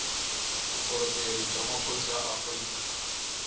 vukorhokeri bya maphorisa ya afrika